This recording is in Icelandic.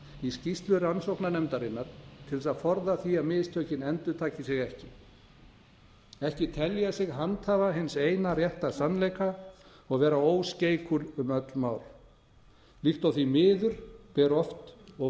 í skýrslu rannsóknarnefndarinnar til þess að forða því að mistökin endurtaki sig ekki ekki telja sig handhafa hins eina rétta sannleika og vera óskeikul um öll mál líkt og því miður ber oft og